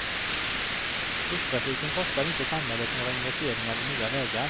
Busstrafiken kostar inte samhället några investeringar i nya vägar.